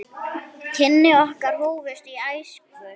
Kynni okkar hófust í æsku.